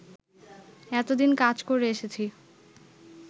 এতদিন কাজ করে এসেছি